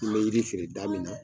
N kun be yiri feere da min na